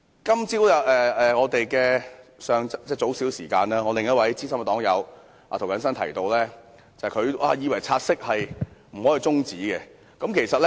今天較早時間，我的另一位資深黨友涂謹申議員表示，以為不可以就"察悉議案"提出中止待續。